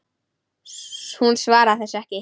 Hún svaraði þessu ekki.